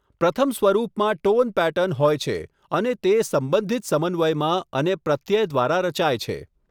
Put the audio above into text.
પ્રથમ સ્વરૂપમાં tone pattern હોય છે અને તે સંબંધિત સમન્વયમાં અને પ્રત્યય દ્વારા રચાય છે.